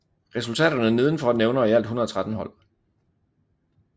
Resultaterne nedenfor nævner i alt 113 hold